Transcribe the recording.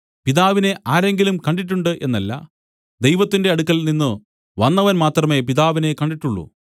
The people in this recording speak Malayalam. പിതാവിനെ ആരെങ്കിലും കണ്ടിട്ടുണ്ട് എന്നല്ല ദൈവത്തിന്റെ അടുക്കൽ നിന്നു വന്നവൻ മാത്രമേ പിതാവിനെ കണ്ടിട്ടുള്ള